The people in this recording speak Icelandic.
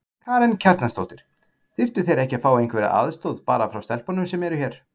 Karen Kjartansdóttir: Þyrftu þeir ekki að fá einhverja aðstoð bara frá stelpunum sem eru hér?